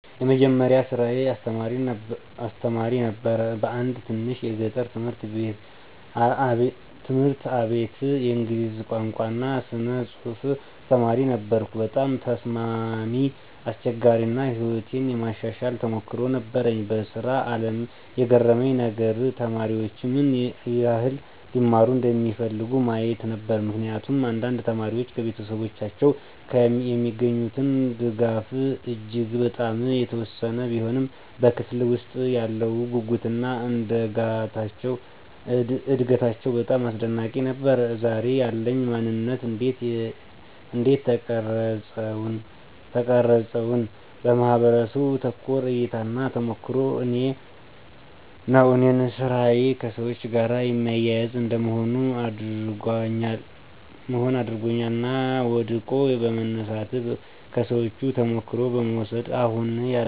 የመጀመሪያ ስራየ አስተማሪ ነበር በአንድ ትንሽ የገጠር ትምህርት አቤት የእንግሊዝ ቋንቋ እና ስነ ፅሐፍ አስተማሪ ነበርኩ። በጣም ተስማሚ፣ አስቸጋሪ አና ሕይወቴን የማሻሻል ተሞክሮ ነበር። በስራ አለም የገረመኝ ነገር?፦ተማሪዎች ምን ይህል (ሊማሩ) እንደሚፈልጉ ማየት ነበር። ምክንያቱም አንዳንድ ተማሪዎች ከቤተሰቦቻቸው የሚገኙት ድጋፍ እጂግ በጣም የተወሰነ ቢሆንም በክፍለ ውስጥ ያለው ጉጉትና እደጋታቸው በጣም አስደናቂ ነበር። ዛሬ ያለኝ ማነንት እንዴት ተቀረፀውን? በማህበረሰቡ ተኮር እይታና ተሞክሮ ነው እኔን ስራዬ ከሰዎች ጋር የሚያያዝ እንደ መሆን አድርጓኛል እና ወድቆ በመነሳት፣ ከሰዎቹ ተሞክሮ በመውስድ አሁን ያለውበትን ማንነት ቀራጨዋለሁ።